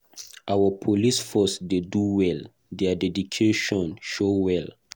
Our police force dey do well. Their dedication show well.